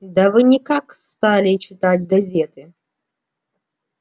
да вы никак стали читать газеты